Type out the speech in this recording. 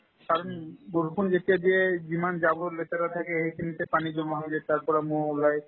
কাৰণ বৰষুণ যেতিয়াই দিয়ে যিমান জাৱৰ লেতেৰা থাকে সেইখিনিতে পানী জমা হৈ যায় তাৰ পৰা ম'হ ওলাই